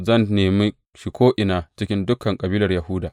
Zan nemi shi ko’ina cikin dukan kabilar Yahuda.